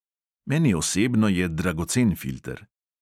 Meni osebno je dragocen filter.